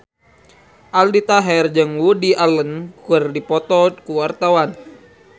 Aldi Taher jeung Woody Allen keur dipoto ku wartawan